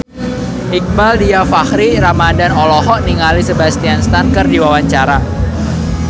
Iqbaal Dhiafakhri Ramadhan olohok ningali Sebastian Stan keur diwawancara